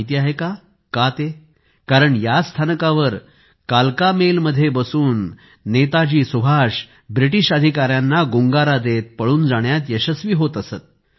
माहिती आहे का का ते कारण याच स्थानकावर कालका मेल मध्ये बसून नेताजी सुभाष ब्रिटिश अधिकाऱ्यांना गुंगारा देत पळून जाण्यात यशस्वी होत असत